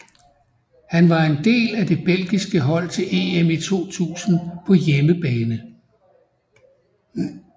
Han var en del af det belgiske hold til EM i 2000 på hjemmebane